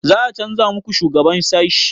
Za a canza muku shugaban sashi?